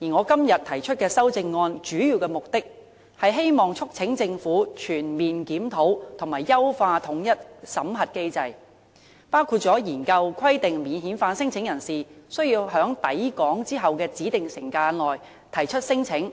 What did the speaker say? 而我今天提出修正案的主要目的，是促請政府全面檢討和優化統一審核機制，包括研究規定免遣返聲請人士須在抵港後的指定時間內提出聲請，